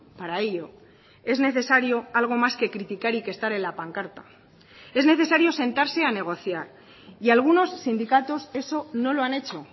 para ello es necesario algo más que criticar y que estar en la pancarta es necesario sentarse a negociar y algunos sindicatos eso no lo han hecho